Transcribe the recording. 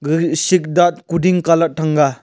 Gaga sikdat koding calat thanga.